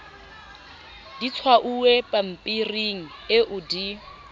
di tshwauwe pampiring eo di